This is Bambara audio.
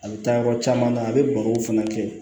A bɛ taa yɔrɔ caman na a bɛ barow fana kɛ